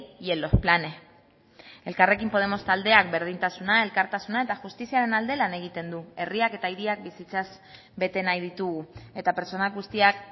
y en los planes elkarrekin podemos taldeak berdintasuna elkartasuna eta justiziaren alde lan egiten du herriak eta hiriak bizitzaz bete nahi ditugu eta pertsona guztiak